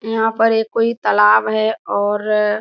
यहां पर ए कोई तालाब है और --